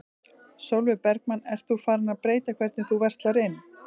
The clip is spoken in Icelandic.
Sólveig Bergmann: Ert þú farin að breyta hvernig þú verslar inn?